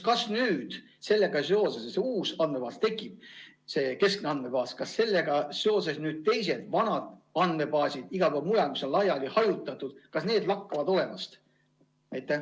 Kas nüüd sellega seoses, et tekib uus andmebaas, vanad andmebaasid, mis on hajutatud, lakkavad olemast?